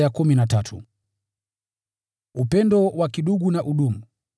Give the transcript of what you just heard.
Endeleeni kupendana kama ndugu.